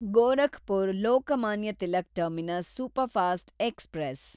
Gorakhpur Lokmanya Tilak terminus superfast express